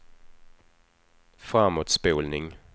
framåtspolning